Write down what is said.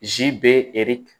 Zi be